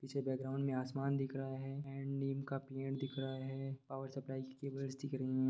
पीछे बैकग्राउंड में आसमान दिख रहा है एंड नीम का पेड़ दिख रहा है पावर सप्लाइ की केबल्स दिख रही हैं।